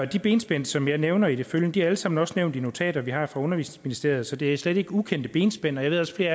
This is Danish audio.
de benspænd som jeg nævner i det følgende er alle sammen også nævnt i notater vi har fra undervisningsministeriet så det er slet ikke ukendte benspænd jeg ved